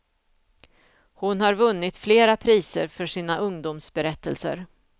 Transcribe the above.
Hon har vunnit flera priser för sina ungdomsberättelser.